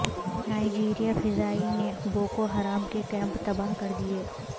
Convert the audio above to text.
نائجیریائی فضائیہ نے Boko Haram کے کیمپ تباہ کردیئے